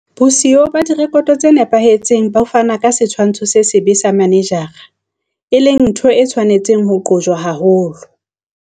Bosiyo ba direkoto tse nepahetseng bo fana ka setshwantsho se sebe sa manejara, e leng ntho e tshwanetseng ho qojwa haholo.